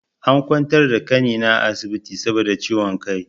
An ƙwantar da ƙanina a asibiti saboda ciwon ƙai.